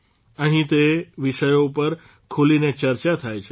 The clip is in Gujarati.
અહીં તે વિષયો ઉપર ખૂલીને ચર્ચા થાય છે